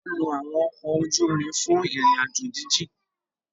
Wọn lo awọn ọkọ ojú ìrin fun ìrìn-àjò jijin